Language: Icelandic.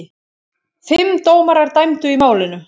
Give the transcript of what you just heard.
Fimm dómarar dæmdu í málinu.